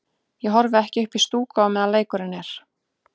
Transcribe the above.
Ég horfi ekki upp í stúku á meðan leikurinn er.